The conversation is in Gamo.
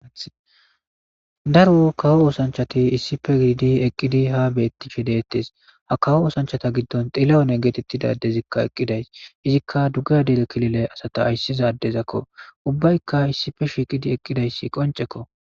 Daro kawo oosanchchati issippe gididi ha beettishe deettes. Ha kawo oosanchchata giddon xilahune geetettida addezikka eqqiday izikka dugeha killile asata ayssiza addezakko. Ubbaykka issippe shiiqi eqqidayssi qoncceko.